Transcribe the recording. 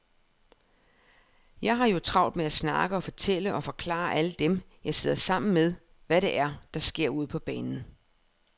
Jeg har jo travlt med at snakke og fortælle og forklare alle dem, jeg sidder sammen med, hvad det er, der sker ude på banen.